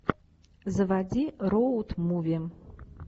заводи роуд муви